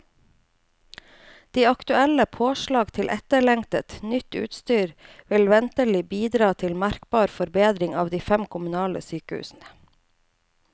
De aktuelle påslag til etterlengtet, nytt utstyr vil ventelig bidra til merkbar forbedring ved de fem kommunale sykehusene.